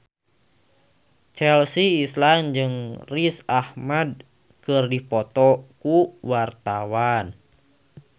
Chelsea Islan jeung Riz Ahmed keur dipoto ku wartawan